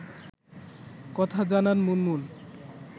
কথা জানান মুনমুন